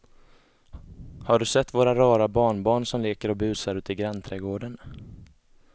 Har du sett våra rara barnbarn som leker och busar ute i grannträdgården!